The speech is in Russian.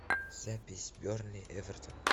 запись бернли эвертон